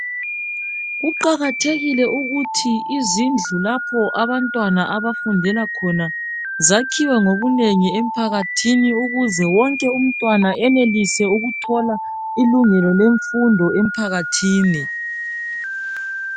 Kuqakathekile ukuthi izindlu lapho abantwana abafundela khona zakhiwe ngobunengi emphakathini ukuze wonke umntwana enelise ukuthola ilungelo lemfundo emphakathini.